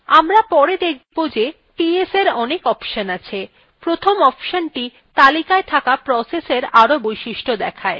আমরা পরে দেখব ps ps এর অনেক অপশন আছে প্রথম অপশনthe তালিকায় থাকা processesএর আরো বৈশিষ্ট্য দেখায়